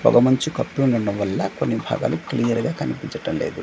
పొగ మంచు కప్పి ఉండడం వల్ల కొన్ని భాగాలు క్లియర్ గా కనిపించటం లేదు.